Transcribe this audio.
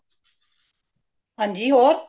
ਹਾਂਜੀ, ਹੋਰ